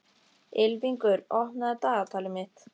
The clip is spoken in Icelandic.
Ylfingur, opnaðu dagatalið mitt.